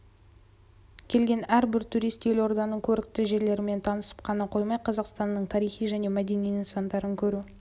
келген әрбір турист елорданың көрікті жерлерімен танысып қана қоймай қазақстанның тарихи және мәдени нысандарын көру